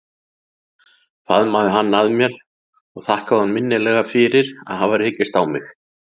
Faðmaði hann að mér og þakkaði honum innilega fyrir að hafa rekist á mig.